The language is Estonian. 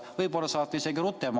Võib-olla saate isegi rutem.